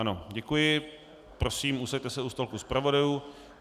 Ano, děkuji, prosím, posaďte se u stolku zpravodajů.